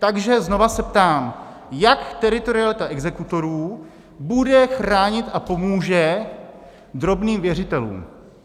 Takže znova se ptám, jak teritorialita exekutorů bude chránit a pomůže drobným věřitelům?